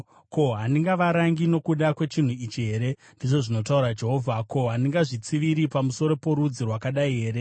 Ko, handigavarangi nokuda kwechinhu ichi here?” ndizvo zvinotaura Jehovha. “Ko, handingazvitsiviri pamusoro porudzi rwakadai here?”